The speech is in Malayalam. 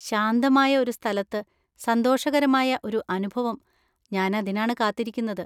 ശാന്തമായ ഒരു സ്ഥലത്ത് സന്തോഷകരമായ ഒരു അനുഭവം, ഞാൻ അതിനാണ് കാത്തിരിക്കുന്നത്.